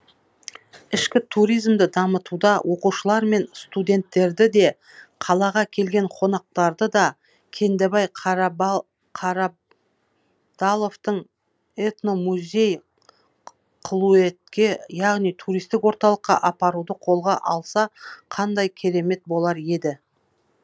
ішкі туризмді дамытуда оқушылар мен студенттерді де қалаға келген қонақтарды да кендебай қарабдаловтың этномузей қылуетке яғни туристік орталыққа апаруды қолға алса қандай керемет болар еді